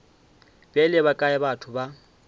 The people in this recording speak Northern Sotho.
bjale ba kae batho ba